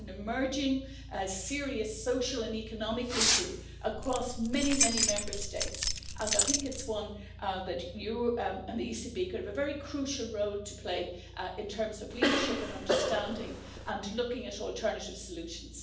It's an emerging serious social and economic issue across many, many Member States and I think it's one where you and the ECB could have a very crucial role to play in terms of leadership and understanding and looking at alternative solutions.